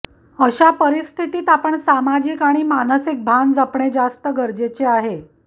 अशा परिस्थितीत आपण सामाजिक आणि मानसिक भान जपणे जास्त गरजेचे आहे